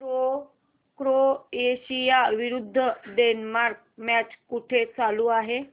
Croatia विरुद्ध Denmark match कुठे चालू आहे